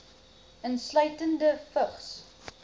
insluitende vigs